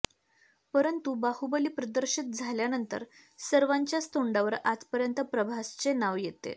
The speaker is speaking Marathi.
परंतु बाहुबली प्रदर्शित झाल्यानंतर सर्वांच्याच तोंडावर आजपर्यंत प्रभासचे नाव येते